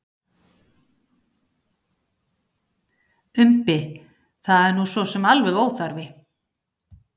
Umbi: Það er nú sosum alveg óþarfi.